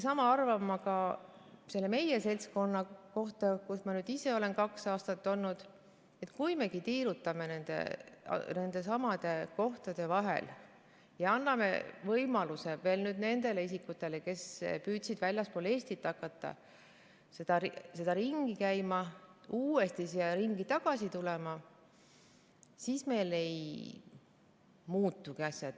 Sama arvan ma ka selle meie seltskonna kohta, kus ma ise olen nüüdseks kaks aastat olnud: kui me tiirutamegi nendesamade kohtade vahel ja anname võimaluse nüüd nendele isikutele, kes püüdsid väljaspool Eestit hakata ringi käima, uuesti siia ringi tagasi tulla, siis meil asjad ei muutugi.